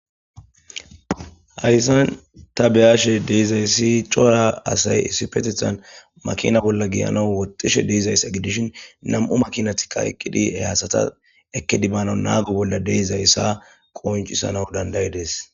hayssan ta beyaashe deezayssi cora asay essifetethan makina bolla giyana woxxishe deezaysa gidishin nam7u makinatika eqqidhie haasata ekedibano naagu bolla deezayssa qooncisana dandayidees